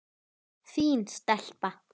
Fín stelpa.